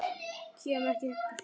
Kem ekki upp hljóði.